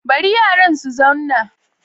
Bari yaran su zanna